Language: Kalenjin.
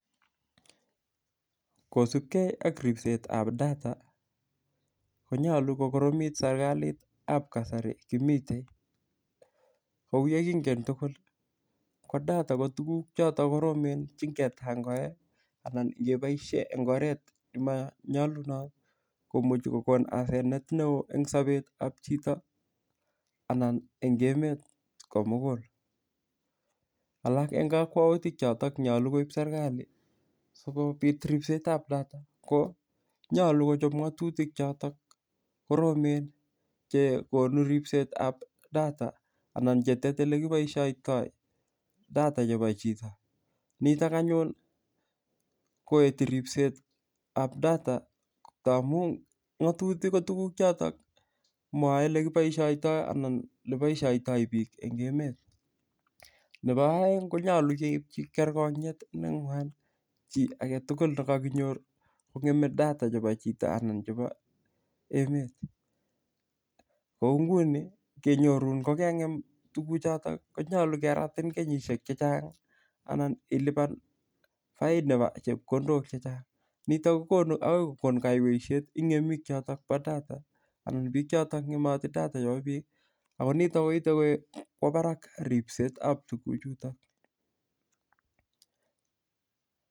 Kosupkei ak ripsetab data konyolu kokoromit serikalitab kasari kimite kou ye kingen tugul ko data ko tukuk choto koromen chengetangoe anan ngeboishe eng' oret nemanyolunot komuchi kokonu asenet ne oo eng' sobetab chito anan eng' emet komugul alak eng' kakwautik chotok nyolu koib serikali sikobit ripsetab data ko nyolu kochop ng'otutik chotok koromen chekonu ripsetab data anan chetetei ole kipoishoitoi data chebo chito nito anyun koeti ripsetab data ndamu ng'otutik ko tukuk chotok mwoei ole kipoishoitoi anan oleboishoitoi biik eng' emet nebo oeng' konyolu keipchi kerkong'yet neng'wan chi age tugul nekakonyor kong'emei data chebo chito anan chebo emet kou nguni ngenyorun kokeng'em tukuchoto konyolu keratin kenyishek chechang' anan ilipan fine nebo chepkondok chechang' noto kokonu akoi kokonu kaiweishet ing' ng'emik chotok bo data anan biik chotok ng'emotei data chebo biik ako nitok koitei kwo barak ripsetab tukuchutok